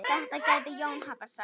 Þetta gæti Jón hafa sagt.